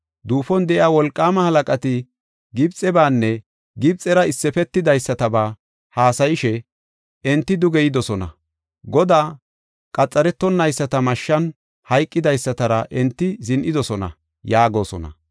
Duufon de7iya wolqaamaa halaqati Gibxebaanne Gibxera issifidaysataba haasayishe, ‘Enti duge yidosona; Godaa qaxaretonayisata mashshan hayqidaysatara enti zin7idosona’ yaagosona.